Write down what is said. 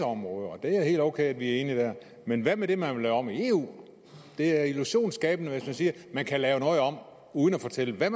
områder og det er helt okay at vi er enige der men hvad med det man vil lave om i eu det er illusionsskabende hvis man siger at man kan lave noget om uden at fortælle hvad